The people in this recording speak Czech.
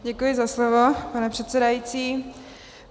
Děkuji za slovo, pane předsedající.